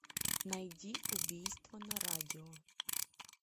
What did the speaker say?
найди убийство на радио